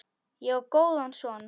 Ég á góðan son.